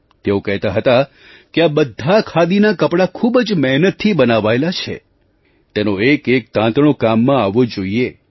તેઓ કહેતા હતા કે આ બધાં ખાદીનાં કપડાં ખૂબ જ મહેનતથી બનાવાયેલાં છે તેનો એક એક તાંતણો કામમાં આવવો જોઈએ